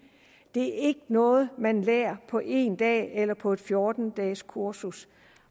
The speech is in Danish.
det er ikke noget man lærer på en dag eller på et fjorten dages kursus